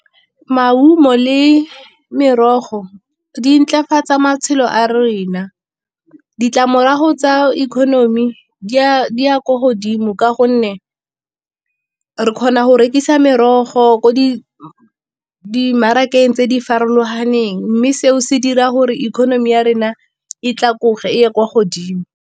Maungo le merogo di ntlafatsa matshelo a rena, ditlamorago tsa economy di ya ko godimo ka gonne re kgona go rekisa merogo ko di dimarakeng tse di farologaneng. Mme seo se dira gore economy ya rena e ye kwa godimo.